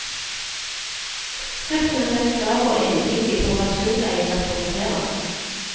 Skriften er helt klar og entydig på hva surdeigen representerer.